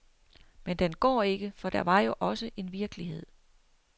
Men den går ikke, for der var jo også en virkelighed.